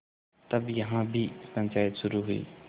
तब यहाँ भी पंचायत शुरू हुई